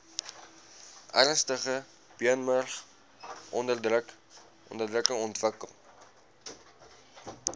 ernstige beenmurgonderdrukking ontwikkel